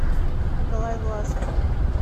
николай власов